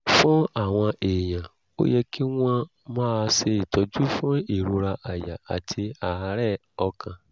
fún àwọn èèyàn ó yẹ kí wọ́n máa ṣe ìtọ́jú fún ìrora àyà àti àárẹ̀ ọkàn